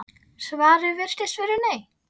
Svarið virðist vera nei.